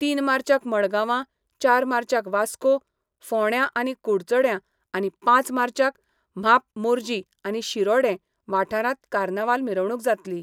तीन मार्चाक मडगांवां, चार मार्चाक वास्को, फोंड्यां आनी कुडचड्यां आनी पांच मार्चाक म्हाप मोरजी आनी शिरोडें वाठारांत कार्नावाल मिरवणूक जातली.